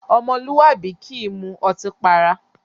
Ọmọlúwàbí kì í mú ọtí para.